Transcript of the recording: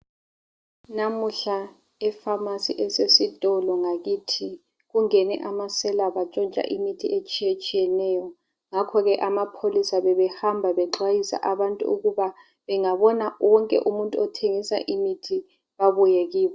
Namuhla epharmacy esesitolo ngakithi kungene amasela batshontsha imithi etshiyetshiyeneyo. Ngakho ke amapholisa bebehamba bexwayisa abantu ukuba bangabona wonke umuntu othengisa imithi, babuye kibo.